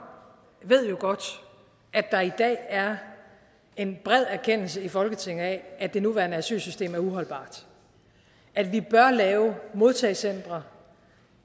ved jo godt at der i dag er en bred erkendelse i folketinget af at det nuværende asylsystem er uholdbart at vi bør lave modtagecentre